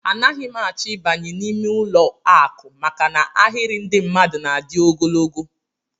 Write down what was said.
Anaghị m achọ ịbanye n'ime ụlọakụ maka na ahịrị ndị mmadụ na-adị ogologo